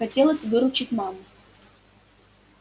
хотелось выручить маму